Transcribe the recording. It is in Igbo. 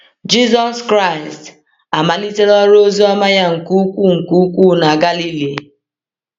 Jisọs Kraịst amalitela ọrụ oziọma ya nke ukwuu nke ukwuu na Galili.